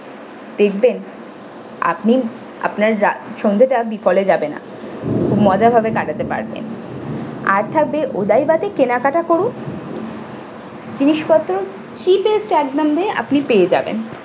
দেখবেন আপনি আপনার সন্ধ্যাটা বিফলে যাবেনা মজা ভাবে কাটাতে পারবেন আর থাকবে udoiba তে কেনা কাটি করুন জিনিসপত্র cheapest এক দামে আপনি পেয়ে যাবেন।